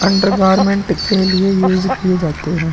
Undergarment के लिए use किये जाते हैं।